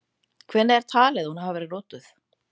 Hvenær er talið að hún hafi verið notuð?.